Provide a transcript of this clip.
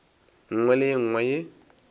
nngwe le ye nngwe ye